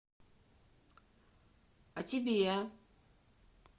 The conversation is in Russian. а тебе